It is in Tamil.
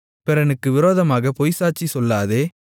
பிறனுக்கு விரோதமாகப் பொய்ச்சாட்சி சொல்லாதே